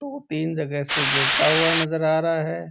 दो तीन जगह से गिरता हुआ नजर आ रहा है।